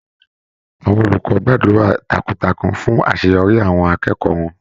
Àwọn olùkọ́ gbàdúrà takuntakun fún àṣeyọrí àwọn akẹ́kọ̀ọ́ wọn.